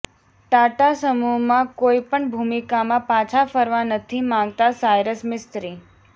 ટાટા સમૂહમાં કોઈ પણ ભૂમિકામાં પાછા ફરવા નથી માંગતા સાયરસ મિસ્ત્રી